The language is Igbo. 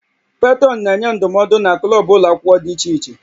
Petrọnụ na-enye ndụmọdụ na klọb ụlọ akwụkwọ dị iche iche